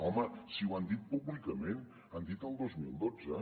home si ho han dit públicament han dit el dos mil dotze